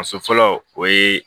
A so fɔlɔ o ye